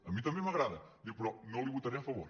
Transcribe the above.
a mi també m’agrada diu però no la hi votaré a favor